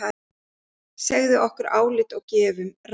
Segjum okkar álit og gefum ráð.